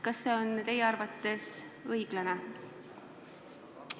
Kas see on teie arvates õiglane?